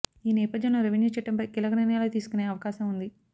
ఈ నేపథ్యంలో రెవెన్యూ చట్టంపై కీలక నిర్ణయాలు తీసుకునే అవకాశం ఉంది